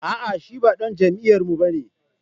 A'a shi ba dan jam'iyyarmu ba ne